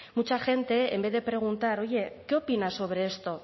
mucha gente en vez de preguntar oye qué opinas sobre esto